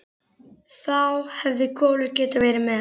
Þá hefði Kolur getað verið með.